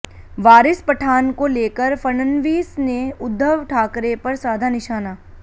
वारिस पठान को लेकर फडणवीस ने उद्धव ठाकरे पर साधा निशाना